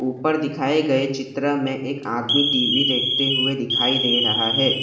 उपर दिखाए गए चित्र में एक आदमी टी_वी देखते हुए दिखाई दे रहा है।